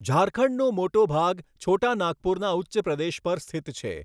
ઝારખંડનો મોટો ભાગ છોટા નાગપુરના ઉચ્ચપ્રદેશ પર સ્થિત છે.